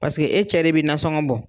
Paseke e cɛ de bɛ nasɔngɔ bɔ